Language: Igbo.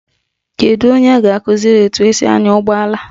Kedu onye ga-akụziri etu esi anya ụgbọala?